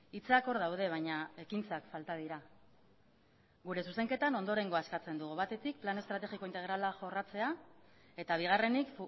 hitzak hor daude baina ekintzak falta dira gure zuzenketan ondorengoa eskatzen dugu batetik plan estrategiko integrala jorratzea eta bigarrenik